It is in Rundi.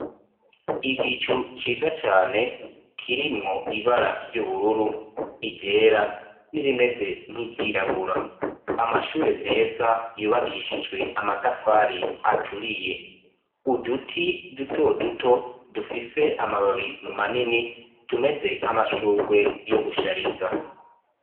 Igicu ciza cane kirimwo ibara ry'ubururu, iryera n'irimeze nk'iryirabura; amashure meza yubakishijwe amatafari aturiye; uduti duto duto dufise amababi manini tumeze nk'amashurwe yo gushariza.